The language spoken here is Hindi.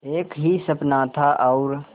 एक ही सपना था और